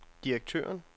direktøren